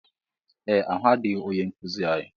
Ee ahụadịghị ónyé nkụzi anyị.